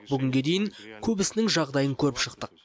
бүгінге дейін көбісінің жағдайын көріп шықтық